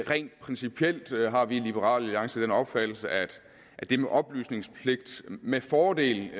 rent principielt har vi i liberal alliance den opfattelse at det med oplysningspligt med fordel